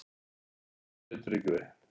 Viðkvæmt, segir Tryggvi.